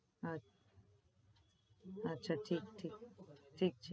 અચ્છા અચ્છા ઠીક-ઠીક ઠીક છે